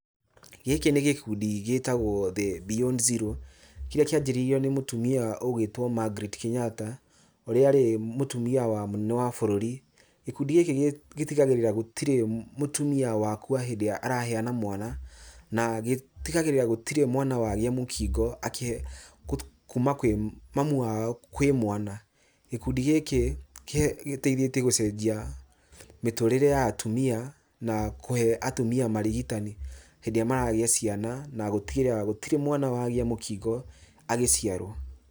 Gĩkĩ nĩ gĩkundi gĩtagwo The Beyond Zero, kĩrĩa kĩanjĩrĩirio nĩ mũtumia ũgwĩtwo Margaret Kenyatta, ũrĩa arĩ mũtimia wa mũnene wa bũrũri, gĩkundi gĩkĩ gĩtigagĩrĩra gũtirĩ mũtimia wakua hĩndĩ ĩrĩa araheana mwana, na gĩtigagĩrĩra gũtirĩ mwana wagĩa mũkingo akĩ kuma kwĩ mamu wao kwĩ mwana. Gĩkundi gĩkĩ gĩteithĩtie gũcenjia mĩtũrĩre ya atumia, na kũhe atumia marigitani hĩndĩ ĩrĩa maragĩa ciana na gũtigĩrĩra gũtirĩ mwana wagĩa mũkingo agĩciarwo.